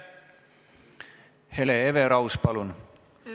Hele Everaus, palun!